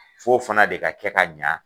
F'o fana de ka kɛ ka ɲa